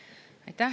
Aitäh!